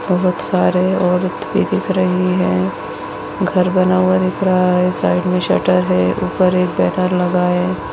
बहुत सारे औरत भी दिख रही है घर बना हुआ दिख रहा है साइड में शटर है ऊपर एक बैरन लगा है।